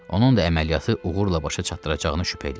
Onun da əməliyyatı uğurla başa çatdıracağını şübhə eləyirəm.